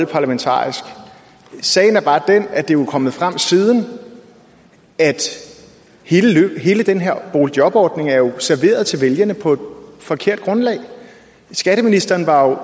parlamentarisk sagen er bare den at det jo er kommet frem siden at hele den her boligjobordning jo er serveret til vælgerne på et forkert grundlag skatteministeren var